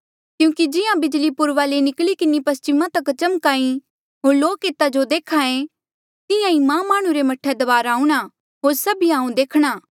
क्यूंकि जिहां बिजली पूर्वा ले निकली किन्हें पस्चिमा तक चमक्हा ई होर लोक एता जो देख्हा ऐें तिहां ईं मां माह्णुं रे मह्ठे दबारा आऊंणा होर सभिया हांऊँ देखणा